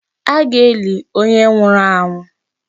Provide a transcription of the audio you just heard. A ga-eli onye nwụrụ anwụ.